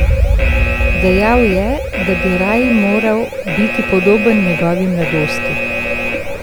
Dejal je, da bi raj moral biti podoben njegovi mladosti.